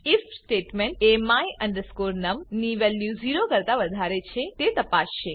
if statement એ my num ની value 0 કરતા વધારે છે તે તપાસશે